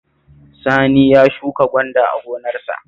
Sani ya shuka gwanda a gonarsa